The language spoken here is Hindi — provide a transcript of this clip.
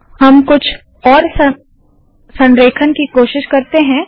हम कुछ और अलग संरेखण की कोशिश करते है